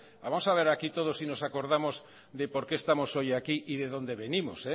vamos a ver aquí todos si nos acordamos de por qué estamos hoy aquí y de dónde venimos